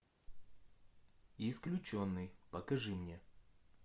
исключенный покажи мне